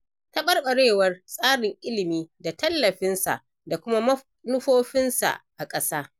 Taɓarɓarewar tsarin ilimi da tallafinsa da kuma manufofinsa a ƙasa.